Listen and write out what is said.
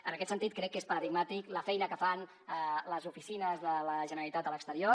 en aquest sentit crec que és paradigmàtica la feina que fan les oficines de la generalitat a l’exterior